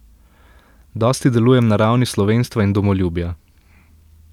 Dosti delujem na ravni slovenstva in domoljubja.